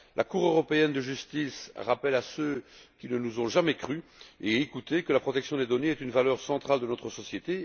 La Cour européenne de justice rappelle à ceux qui ne nous ont jamais crus et écoutés que la protection des données est une valeur centrale de notre société.